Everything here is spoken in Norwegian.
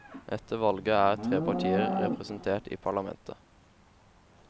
Etter valget er tre partier representert i parlamentet.